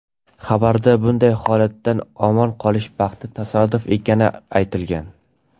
Xabarda bunday holatdan omon qolish baxtli tasodif ekani aytilgan.